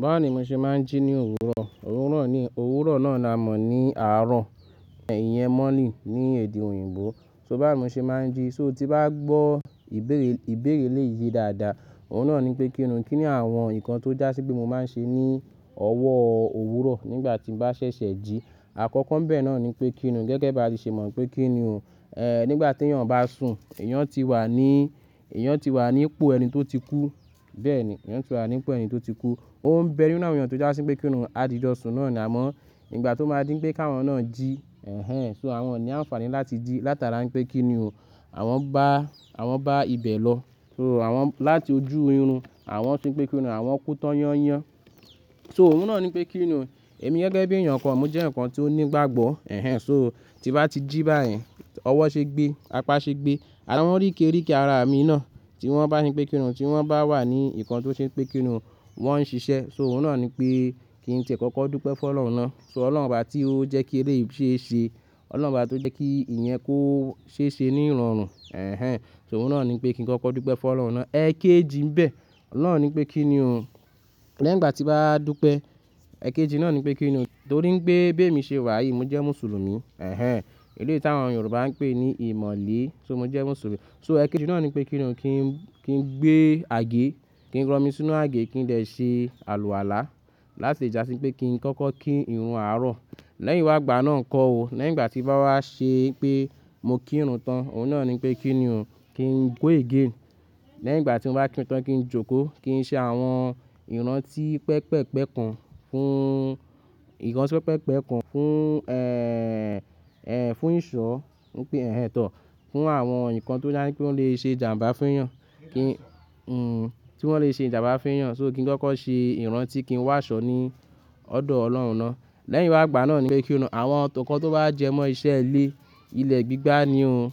Báwo ni mo ṣe máa ń jí ní òwúrọ̀? Òwúrọ̀ ni, owuro náà ni a mọ̀ ní àárọ̀, ìyẹn morning ní èdè òyìnbó. So bá mo ṣe máa ń jí, so tí bá gbọ́, ibeere, ìbéèrè eleyìí dáadáa, òhun náà ni pé kíni o. Kí ni àwọn nǹkan tó dá sí pé mo máa ń ṣe ní ọwọ́ òwúrọ̀ nígbà tí n bá ṣẹ̀ṣẹ̀ jí. Àkọ́kọ́ ńbẹ náà ni pé kíni o. Gẹ́gẹ́ bá le ṣe mọ̀ pé kíni o. Ehn, nígbà tí èèyàn bá sùn, èèyàn ti wà ní, èèyàn ti wà ní ipò ẹni tó ti kú. Bẹ́ẹ̀ ni, èèyàn ti wà ní ipò ẹni tó ti kú. Ó ń bẹ ninu awon eeyan tó já sí pé kíni o, àdí jo sùn náà ni amọ̀. Ngbà tó máa dín pé ka àwọn náà jí, ehn, so àwọn oni àǹfààní láti jí látara n pé kíni o. Àwọn bá, àwọn bá ibẹ̀ lọ, so àwọn láti ojú orun, àwọn ṣe pé kíni o, àwọn kú tọ́yán yán. So òun náà ni pé kíni o. Èmi gẹ́gẹ́ bí èèyàn kan, mo jẹ́ eeyan kan tí ó ní ìgbàgbọ́, ehn. So tí bá ti jí báyìí, ọwọ́ ṣe gbé, apá ṣe gbé. Àwọn oríke ríke ara mi náà tí wọ́n bá ṣe pé kíni o, tí wọ́n bá wà ní nǹkan tó ṣe pé kíni o, wọ́n ń ṣiṣẹ́. So òhun náà ni pé kí n tẹ̀kọ́kọ́ dúpẹ́ fún Ọlọ́run náà. So Ọlọ́run obá tí ó jẹ́ kí èléyìí ṣe ṣe, Ọlọ́run bá tó jẹ́ kí ìyẹn kó ṣe ṣe ní ìrọ̀rùn, ehn. So òhun náà ni pé kí n kọ́kọ́ dúpẹ́ fún Ọlọ́run náà. Ẹ̀ẹ̀kéjì nbẹ́, náà ni pé kíni o. Lẹ́yìn ngbà tí bá dúpẹ́, ẹ̀kéjì náà ni pé kíni o. Torí n pé bí èmi ṣe wà yìí, mo jẹ́ Mùsùlùmí, ehn. Èléyii tí àwọn Yorùbá ń pè ní ìmọ̀lé, so mo jẹ́ Mùsùlùmí. So ẹ̀kéjì náà ni pé kíni o, ki n, kí n gbé àgé, kí n rọ̀ mí sínú àgé, kí n dè ṣe àlùwàlá láti ìjà sí pé kí n kọ́kọ́ kí ìrun àárọ̀. Lẹ́yìn wá gbà náà ńkọ́ o. Lẹ́yìn ngbà tí bá wá ṣe pé mo kírun tán, òhun náà ni pé kíni o, kí n go again. Lẹ́yìn ngbà tí mo bá kírun tán, kí n jókòó, kí n ṣe àwọn ìrántí pẹpẹpẹ kun fún, ìkànṣó pẹpẹpẹ kun fún, ehn, ehn, fún ìsọ̀, ń pè, ehn tọ́, fún àwọn nǹkan tó dá sí pé ó lè ṣe jàǹbá fún èèyàn. Kí, hm, tí wọ́n lè ṣe jàǹbá fún èèyàn. So kí n kọ́kọ́ ṣe ìrántí kí n wàásọ̀ ní ọ̀dọ̀ Ọlọ́run náà. Lẹ́yìn wá gbà náà ni pé kíni o. Àwọn tó kan to bá jẹmọ́ iṣẹ́ ilé, ilẹ̀ gbígbá ni o.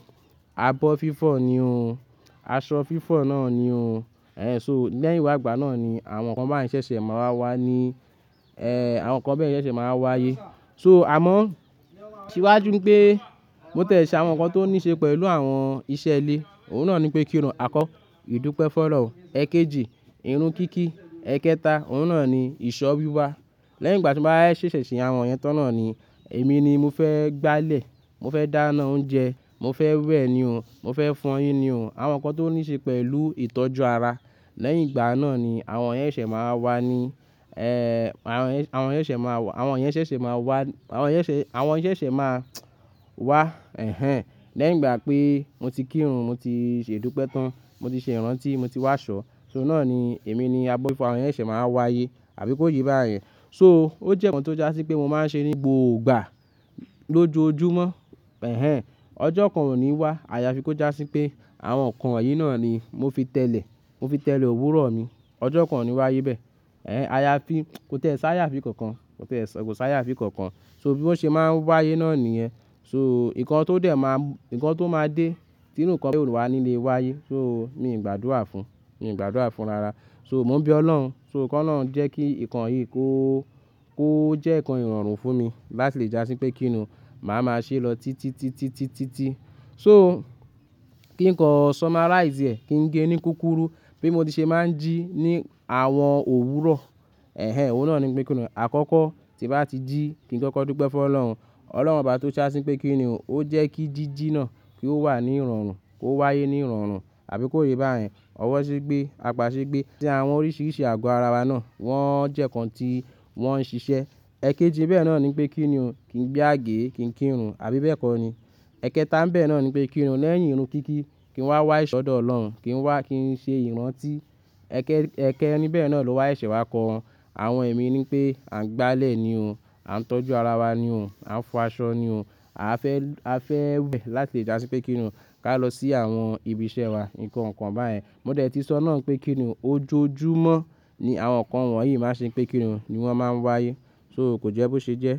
Abọ́ fífọ̀ ni o. Aṣọ fífọ̀ náà ni o. Ehn, so lẹ́yìn wá gbà náà ni àwọn nǹkan báyeń ṣẹ̀ṣẹ̀ máa wá wá ni, ehn, àwọn nǹkan bẹ́ẹ̀ yẹn ṣẹ̀ṣẹ̀ máa wá ayé. So amọ̀ síwájú n pé mo tẹ̀ṣẹ àwọn nǹkan tó níí ṣe pẹ̀lú àwọn iṣẹ́ ilé. Òun náà ni pé kíni o. Àkọ, ìdúpẹ́ fun ọ́lọ̀hun. Ẹ̀kéjì, irun kíkí. Ẹ̀kẹ́ta, òun náà ni ìsọ̀ wíwa. Lẹ́yìn ngbà tí bá wa ṣẹ̀ṣẹ̀ ṣe àwọn ẹ̀yẹn tọ́ n naà ni èmi ni mo fẹ́ gbálẹ̀, mo fẹ́ dáná oúnjẹ, mo fẹ́ wẹ̀ ni o. Mo fẹ́ fọyín ni o. Àwọn nǹkan tó níí ṣe pẹ̀lú ìtọ́jú ara. Lẹ́yìn ìgbà náà ni àwọn eyẹn ṣẹ̀ máa wá ni, ehn, awon eyen, àwọn ẹ̀yẹn ṣẹ̀ máa wà, àwọn ẹ̀yẹn ṣẹ̀ṣẹ̀ máa wá, àwọn ẹ̀yẹn ṣẹ̀, àwọn ẹ̀yẹn ṣẹ̀ máa wá, ehn. Lẹ́yìn ngbà pé mo ti kírun, mo ti ṣe ìdúpẹ́ tán, mo ti ṣe ìrántí, mo ti wàásọ̀. So náà ni èmi ni abọ́ fífọ̀, àwọn ẹ̀yẹn ṣẹ̀ máa wá ayé àbí kó ye báyen. So ó jẹ́ nǹkan tó já sí pé mo máa ń ṣe ní gbo o gbà, lójoojúmọ́, ehn. Ọjọ́ kan ò ní wá. A yá fi kó já sí pé àwọn nǹkan yìí náà ni mo fi tẹ̀lé, mo fi tẹ̀lé òwúrọ̀ mi. Ọjọ́ kan ò ní wáayé bẹ́ẹ̀. Ehn, a yá fi, ko tẹ̀ẹ́ sáyà fi kankan, ko tẹ̀ẹ́ s--kò sáyà fi kankan. So bí won se máa n wáayé náà nìyẹn. So nǹkan tó dẹ̀ máa, nǹkan tó máa dé, tí eru nǹkan be oni wá nílé wáayé. So mi gbàdúrà fún, mi gbàdúrà fún rara. So mo ń bí Ọlọ́hun, so ko olohun jẹ́ kí nǹkan yìí kó, kó jẹ́ nǹkan ìrọ̀rùn fún mi láti lè já sí pé kíni o, màá máa ṣe lọ títí, títí, títí, tí. So kí n kọ sọmáráìsì ẹ̀, kí n gé ní kúkúrú, bí mo ti ṣe máa ń jí ní àwọn òwúrọ̀, ehn. Òun náà ni pé kíni o. Àkọ́kọ́ tí bá ti jí, kí n kọ́kọ́ dúpẹ́ fún Ọlọ́run. Ọlọ́run obá tó já sí n pé kíni o, ó jẹ́ kí jíjí náà kí ó wà ní ìrọ̀rùn, kó wáyé ní ìrọ̀rùn àbí kó ye báyen. Ọwọ́ ṣe gbé, apá ṣe gbé. Ṣé àwọn oríṣìíríṣìí àgbọ́ ara wa náà wọ́n jẹ́ nǹkan tí wọ́n ń ṣiṣẹ́. Ẹ̀kéjì bẹ́ẹ̀ náà ni pé kíni o, kí n gbé àgé, kí n kírun àbí bẹ́ẹ̀ kọ́ ni. Ẹ̀kẹ́ta ńbẹ náà ni pé kíni o, lẹ́yìn irun kíkí, kí n wá wá ìṣọ̀dọ̀ Ọlọ́run, kí n wá, kí n ṣe ìrántí. Ẹ̀kẹ́, ẹ̀kẹ́ níbẹ̀ náà ló wá ẹ̀ṣẹ̀ wá kọ. Àwọn èmi ni pé à ń gbálẹ̀ ni o. À ń tọ́jú ara wa ni o. À ń fọ aṣọ ni o. A fẹ́, a fẹ́ wẹ̀ láti ìjà sí pé kíni o, ká lọ sí àwọn ibi iṣẹ́ wa, nǹkan kan báyen. Mo dẹ̀ tí sọ náà pé kíni o, ojoojúmọ́ ni àwọn nǹkan wọ̀nyí máa ṣe pé kíni o ni wọ́n máa ń wáyé. So kò jẹ́ bó ṣe jẹ́.